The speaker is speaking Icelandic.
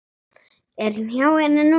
Er hann hjá henni núna?